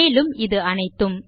மேலும் இது அனைத்தும்